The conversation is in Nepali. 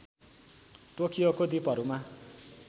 टोकियोको द्वीपहरूमा